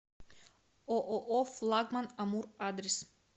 ооо флагман амур адрес